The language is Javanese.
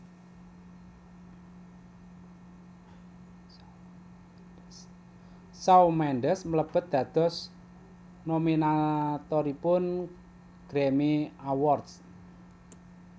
Shawn Mendes mlebet dados nominatoripun Grammy Awards